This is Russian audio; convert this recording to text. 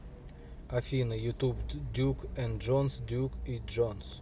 афина ютуб дюк энд джонс дюк и джонс